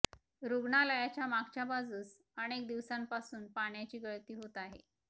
रुग्णालयाच्या मागच्या बाजूस अनेक दिवसांपासून पाण्याची गळती होत आहे